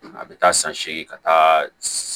A bɛ taa san seegin ka taa